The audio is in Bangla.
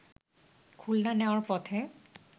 খুলনা নেয়ার পথে